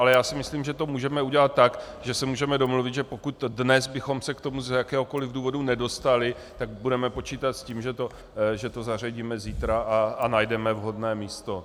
Ale já si myslím, že to můžeme udělat tak, že se můžeme domluvit, že pokud dnes bychom se k tomu z jakéhokoliv důvodu nedostali, tak budeme počítat s tím, že to zařadíme zítra a najdeme vhodné místo.